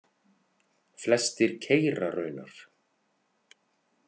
Flestir keyra raunar.